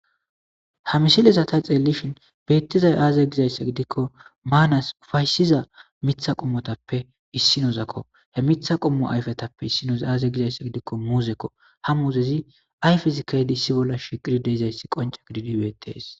Ha misilezata xeelishin beettizay aaze gizayssa gidikko maanas ufaysiza mitha qommotappe issinozakko he mitha qommo ayfetappe issinoza aaze gizayssa gidikko muuzekko ha muzezi ay fizikaydi issi bolla shiqiri deezayssi qonca gididi weetees